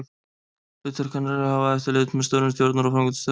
Hlutverk hennar er að hafa eftirlit með störfum stjórnar og framkvæmdastjóra.